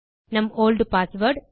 நம் old password